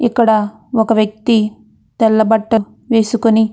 ఇక్కడ ఒక వ్యక్తి తెల్ల బట్టలు వెస్కొని --